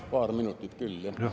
Jah, paar minutit küll jah.